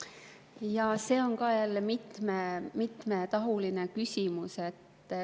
Jaa, see on ka jälle mitmetahuline küsimus.